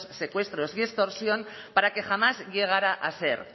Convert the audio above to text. secuestros y extorsión para que jamás llegara a ser